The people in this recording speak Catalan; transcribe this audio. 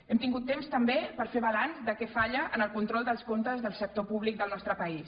hem tingut temps també per fer balanç de què falla en el control dels comptes del sector públic del nostre país